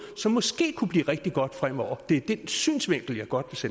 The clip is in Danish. som måske kunne blive rigtig godt fremover det er den synsvinkel jeg godt